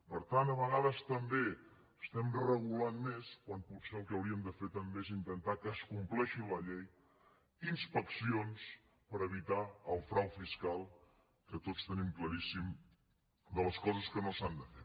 per tant a vegades també estem regulant més quan potser el que hauríem de fer és intentar que es compleixi la llei inspeccions per evitar el frau fiscal que tots tenim claríssimes les coses que no s’han de fer